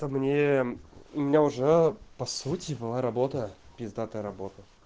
это вне у меня уже по сути была работа пиздатая работа